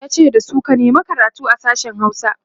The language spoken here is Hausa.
yace dasu "ka nema karatu a sashen Hausa!"